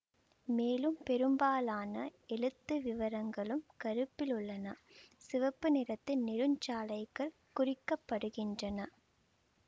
மேலும் பெரும்பாலான எழுத்து விவரங்களும் கருப்பில் உள்ளன சிவப்பு நிறத்து நெடுஞ்சாலைகள் குறிக்க படுகின்றன